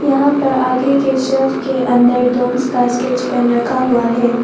यहां पर आगे के सेल्फ के अंदर डोम्स का स्केच पेन रखा हुआ है।